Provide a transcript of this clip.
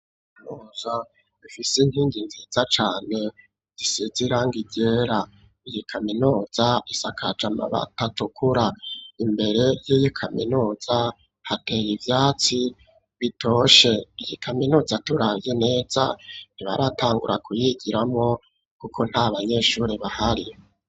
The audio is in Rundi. Kaminuza ifise inkingi nziza cane zisize irangi ryera iyi kaminuza isakaje amabati atukura imbere yiyi kaminuza hateye ivyatsi bitoshe iyi kaminuza turavye neza ntibaratangura kuyigiramwo kuko nta banyeshure bahari.